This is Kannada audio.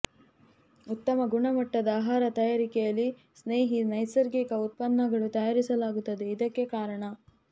ಉತ್ತಮ ಗುಣಮಟ್ಟದ ಆಹಾರ ತಯಾರಿಕೆಯಲ್ಲಿ ಸ್ನೇಹಿ ನೈಸರ್ಗಿಕ ಉತ್ಪನ್ನಗಳು ತಯಾರಿಸಲಾಗುತ್ತದೆ ಇದಕ್ಕೆ ಕಾರಣ